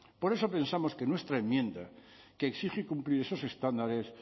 por eso pensamos que nuestra enmienda que exige cumplir esos estándares